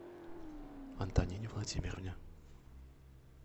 антонине владимировне